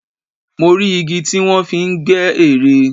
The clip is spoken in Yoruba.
Mo rí igi tí wọ́n fi ń gbẹ́ ère